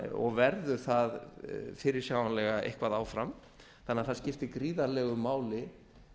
og verður það fyrirsjáanlega eitthvað áfram þannig að það skiptir gríðarlegu máli